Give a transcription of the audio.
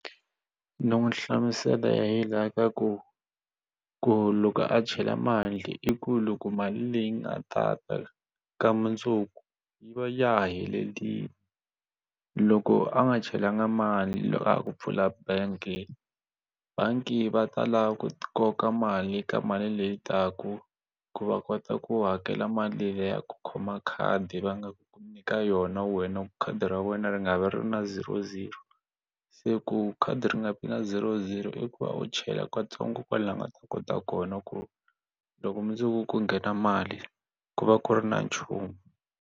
No n'wi hlamusela hi laha ka ku ku loko a chela mali i ku loko mali leyi nga ta ta ka mundzuku yi va ya ha helelile loko a nga chelanga mali a ha ku pfula bank bangi va ta lava ku koka mali ka mali leyi taku ku va kota ku hakela mali leyi ya ku khoma khadi va nga ku ku nyika yona wena khadi ra wena ri nga vi na zero zero se ku khadi ri nga vi na zero zero i ku va u chela katsongo kwalaho u nga ta kota kona ku loko mundzuku ku nghena mali ku va ku ri na nchumu.